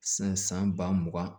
San san ba mugan